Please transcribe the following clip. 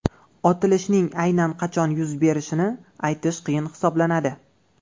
Otilishning aynan qachon yuz berishini aytish qiyin hisoblanadi.